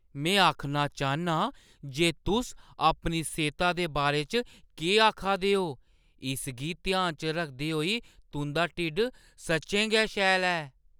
में आखना चाह्न्नां जे तुस अपनी सेह्ता दे बारे च केह् आखा दे ओ, इसगी ध्याना च रखदे होई तुंʼदा ढिड्ड सच्चैं गै शैल ऐ।